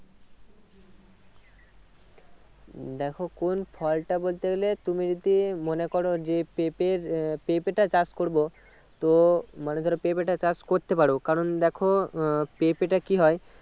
দেখো কোন ফলটা বলতে গেলে তুমি যদি মনে করো যে পেঁপের আহ পেঁপেটা চাষ করবো তো মানে ধরো পেঁপেটা চাষ করতে পারো কারণ দেখো আহ পেঁপেটা কি হয়